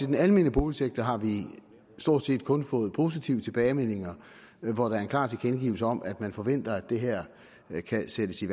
den almene boligsektor har vi stort set kun fået positive tilbagemeldinger med klare tilkendegivelser om at man forventer at det her kan sættes i